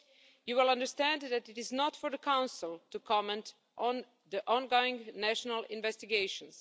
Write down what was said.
You will understand that it is not for the Council to comment on ongoing national investigations.